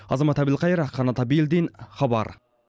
азамат әбілқайыр қанат әбілдин хабар